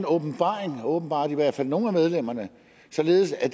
åbenbaring åbenbart i hvert fald nogle af medlemmerne således at